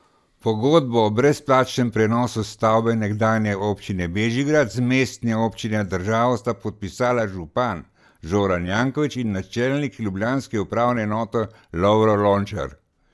Pogodbo o brezplačnem prenosu stavbe nekdanje občine Bežigrad z mestne občine na državo sta podpisala župan Zoran Janković in načelnik ljubljanske upravne enote Lovro Lončar.